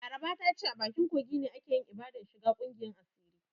Laraba ta ce a bakin kogi ne aka yi ibadan shiga ƙungiyan asirin.